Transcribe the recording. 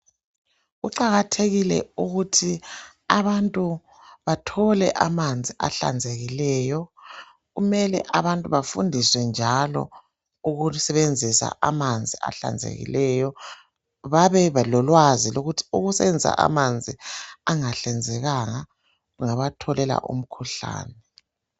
Kuqakathekile ukuthi abantu bathole amanzi ahlanzekileyo. Kumele abantu bafundiswe njalo ukusebenzisa amanzi ahlanzekileyo. Babelolwazi lokuthi ukusebenzisa amanzi angahlanzekanga kungabatholela umkhuhlane.